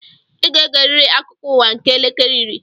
I ga-egeriri akụkọ ụwa nke elekere iri!